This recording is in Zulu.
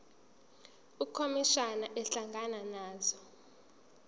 ukhomishana ehlangana nazo